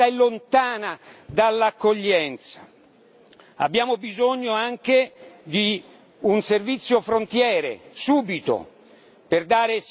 Abbiamo bisogno anche di un servizio frontiere, subito, per dare sicurezza allo spazio dell'Unione europea.